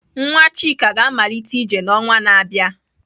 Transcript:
Nwa Chika ga-amalite ije n'ọnwa na-abịa.